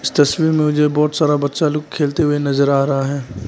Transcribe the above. इस तस्वीर में मुझे बहुत सारा बच्चा लोग खेलते हुए नजर आ रहा है।